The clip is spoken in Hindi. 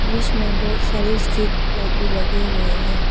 ब्रिज में बहोत सारी स्ट्रीट लाइट भी लगे हुए है।